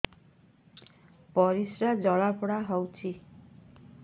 ପରିସ୍ରା ଜଳାପୋଡା ହଉଛି